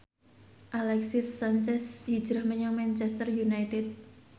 Alexis Sanchez hijrah menyang Manchester united